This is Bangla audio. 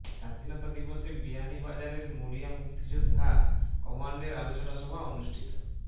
স্বাধীনতা দিবসে বিয়ানীবাজারের মুড়িয়া মুক্তিযোদ্ধা কমান্ডের আলোচনা সভা অনুষ্ঠিত